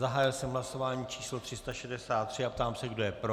Zahájil jsem hlasování číslo 363 a ptám se, kdo je pro.